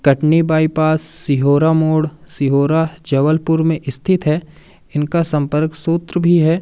Katni bypass Sihora मोड सिहोरा जबलपुर में स्थित है इनका संपर्क सूत्र भी है।